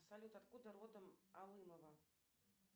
салют откуда родом алымова